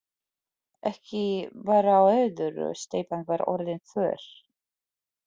Jú, ekki bar á öðru, steypan var orðin þurr.